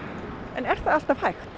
en er það alltaf hægt